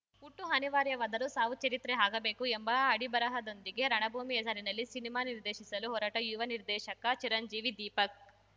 ಹುಟ್ಟು ಅನಿವಾರ್ಯವಾದರೂ ಸಾವು ಚರಿತ್ರೆ ಆಗಬೇಕು ಎಂಬ ಅಡಿಬರಹದೊಂದಿಗೆ ರಣಭೂಮಿ ಹೆಸರಲ್ಲಿ ಸಿನಿಮಾ ನಿರ್ದೇಶಿಸಲು ಹೊರಟ ಯುವ ನಿರ್ದೇಶಕ ಚಿರಂಜೀವಿ ದೀಪಕ್‌